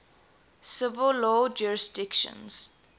civil law jurisdictions